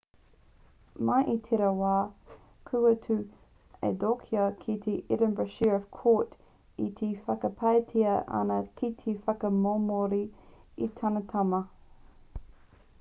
mai i tērā wā kua tū a adekoya ki te edinburgh sheriff court e whakapaetia ana ki te whakamomori i tāna tama